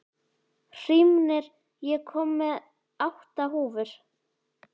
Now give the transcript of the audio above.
Hrímnir, ég kom með átta húfur!